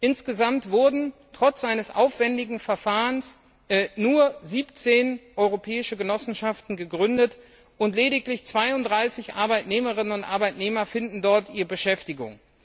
Insgesamt wurden trotz eines aufwendigen Verfahrens nur 17 europäische Genossenschaften gegründet, und lediglich 32 Arbeitnehmerinnen und Arbeitnehmer finden dort ihre Beschäftigung.